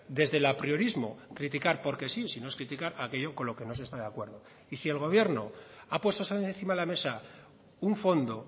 desde el apriorismo criticar porque sí sino es criticar aquello con lo que no se está de acuerdo y si el gobierno ha puesto encima de la mesa un fondo